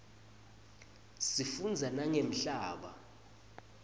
sifundza nangemhlaba